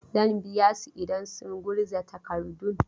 Zan biya su idan sun gurza takardun.